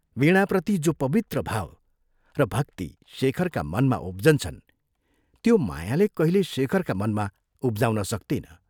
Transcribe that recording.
वीणाप्रति जो पवित्र भाव र भक्ति शेखरका मनमा उब्जन्छन्, त्यो मायाले कहिल्यै शेखरका मनमा उब्जाउन सक्तिन।